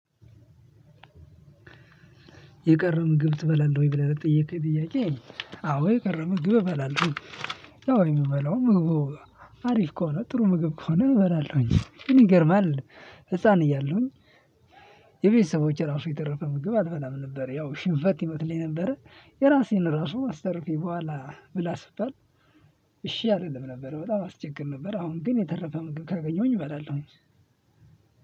የቀረ ምግብ ትበላለህ ወይ ብለህ ለጠየከኝ ጥያቄ? አዎ የቀረ ምግብ እበላለሁኝ። ያው የምበላው ምግቡ አሪፍ ከሆነ ጥሩ ምግብ ከሆነ እበላለሁኝ ግን ይገርማለሁ ህፃን እያሉኝ። የቤተሰቦቼ ራሱ የተረፈ ምግብ አልበላም ነበረ ያው ሽንፈት ይመስለኝ ነበረ። የራሴን ራሱ አስተርፌ ቡሃላ ብላ ስባል። እሺ አልልም ነበረ በጣም አስቸግር ነበረ። አሁን ግን የተረፈ ምግብ ካገኘሁኝ እበላለሁ።